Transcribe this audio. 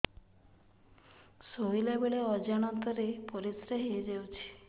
ଶୋଇଲା ବେଳେ ଅଜାଣତ ରେ ପରିସ୍ରା ହେଇଯାଉଛି